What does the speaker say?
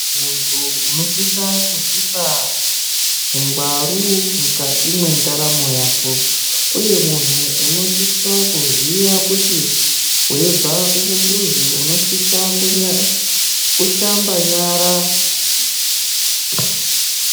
Muntu unosisa kuzvipa ungwaru mukati mwendaramo yako, uye muntu unosisa kuziya kuti veibva kuchimbuzi unosisa kushamba nyara.